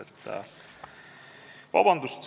Vabandust!